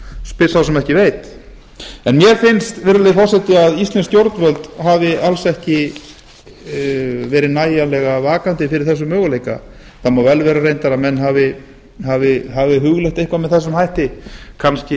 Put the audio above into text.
spyr sá sem ekki veit en mér finnst virðulegi forseti að íslensk stjórnvöld hafi alls ekki verið nægjanlega vakandi fyrir þessum möguleika það má vel vera reyndar að menn hafi hugleitt eitthvað með þessum hætti kannski reynt